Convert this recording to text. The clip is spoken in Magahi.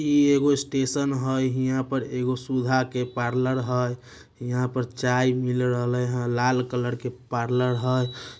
ई एगो स्टेशन हय यहाँ पे एगो सुधा के पार्लर हय। यहाँ पर चाय मिल रहले हय। लाल कलर के पार्लर हय।